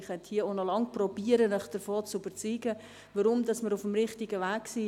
Ich könnte hier auch noch lange versuchen, Sie davon zu überzeugen, dass wir auf dem richtigen Weg sind.